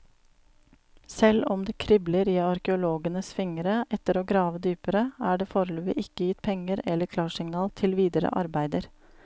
Selv om det kribler i arkeologenes fingre etter å grave dypere, er det foreløpig ikke gitt penger eller klarsignal til videre arbeider.